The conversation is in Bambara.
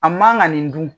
A man ka nin dun